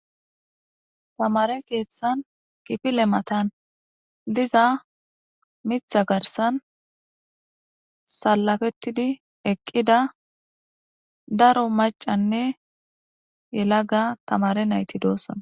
Tamare keththan kifille mattan diiza miththa garssan salafetidi eqqida daaro maccanne yellaga tammare nayti dossona.